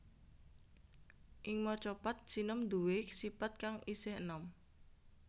Ing Macapat sinom nduwé sipat kang isih enom